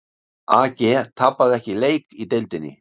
AG tapaði ekki leik í deildinni